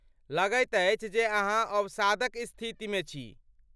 लगैत अछि जे अहाँ अवसादक स्थितिमे छी?